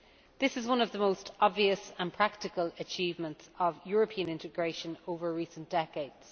This is one of the most obvious and practical achievements of European integration over recent decades.